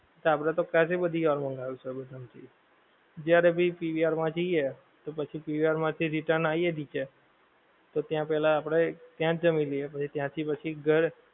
તો આપડે તો ક્યાં થી બધી વાર મંગાવ્યું છે subway માં, જ્યાં ભી PVR માં જઇયે તો પછી PVR માંથી return આઇયે નીચે, તો ત્યાં પેહલા આપડે, ત્યાંજ જમી લઈએ પછી ત્યાં થી પછી ઘર